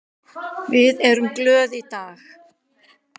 Við erum glöð í dag.